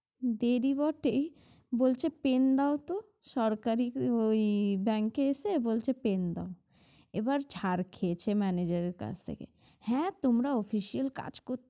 দেরি বটেই বলছে pen দেও তো সরকারির ওই Bank এ এসে বলছে pen দাও এবার ঝাড় খেয়েছে manager এর কাছ থেকে হ্যাঁ তোমরা official কাজ করতে